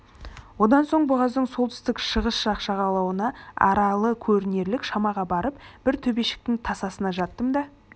одан соң бұғаздың солтүстік-шығыс жақ жағалауына аралы көрінерлік шамаға барып бір төбешіктің тасасына жаттым да